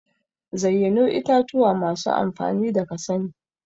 zayyano itatuwa masu amfani da kasani.